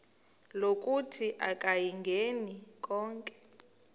lokuthi akayingeni konke